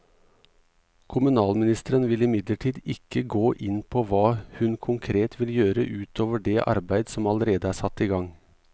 Kommunalministeren vil imidlertid ikke gå inn på hva hun konkret vil gjøre ut over det arbeidet som allerede er satt i gang.